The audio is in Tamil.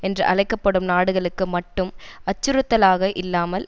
என்று அழைக்க படும் நாடுகளுக்கு மட்டும் அச்சுறுத்தலாக இல்லாமல்